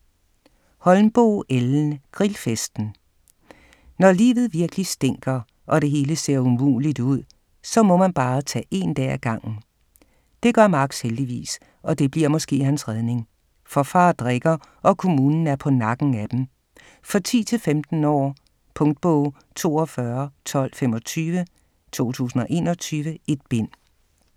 Holmboe, Ellen: Grillfesten Når livet virkelig stinker, og det hele ser umuligt ud, så må man bare tage én dag ad gangen. Det gør Max heldigvis, og det bliver måske hans redning. For far drikker, og kommunen er på nakken af dem. For 10-15 år. Punktbog 421225 2021. 1 bind.